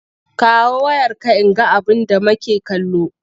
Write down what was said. Kawo wayarka in ga abinda make kallo!